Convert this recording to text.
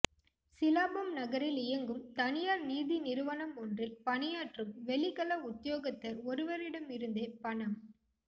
சிலாபம் நகரில் இயங்கும் தனியார் நீதி நிறுவனம் ஒன்றில் பணியாற்றும் வெளிக்கள உத்தியோகத்தர் ஒருவரிடமிருந்தே பணம்